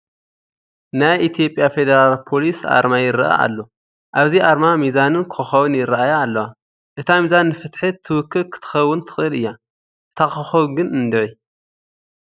ናይ ኢትዮጵያ ፌደራል ፖሊስ ኣርማ ይርአ ኣሎ፡፡ ኣብዚ ኣርማ ሚዛንን ኮኸፍን ይርአያ ኣለዋ፡፡ እታ ሚዛን ንፍትሒ ትውክል ክትከውን ትኽእል እያ፡፡ እታ ኾኸብ ግን እንድዒ፡፡